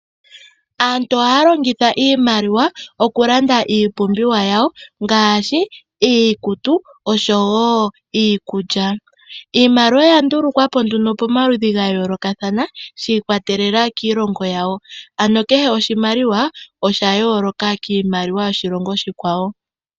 Aantu ohaa longitha iimaliwa okulanda iipumbiwa yawo, ngaashi iikutu, osho wo iikulya. Iimaliwa oya ndulukwa po nduno pamaludhi ga yoolokathana, shi ikwatelela kiilongo yawo. Ano kehe oshimaliwa osha yooloka kiimaliwa yoshilongo oshikwawo.